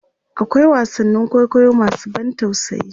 akwai wasannin kwaikwayo masu ban tausayi